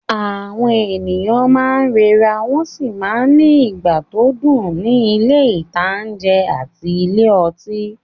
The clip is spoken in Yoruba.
Àwọn èèyàn máa n rẹra wọ́n sì máa n ní ìgbà tó dùn ní ilé-ìtánjẹ àti ilé ọtí